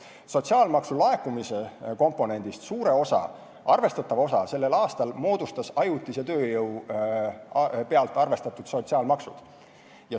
Sotsiaalmaksu laekumise komponendist arvestatava osa moodustasid sellel aastal ajutise tööjõu pealt arvestatud sotsiaalmaksud.